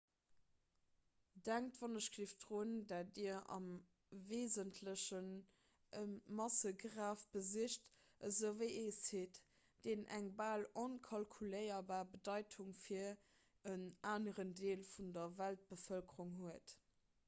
denkt wgl drun datt dir am weesentlechen e massegraf besicht esouwéi e site deen eng bal onkalkuléierbar bedeitung fir en aneren deel vun der weltbevëlkerung huet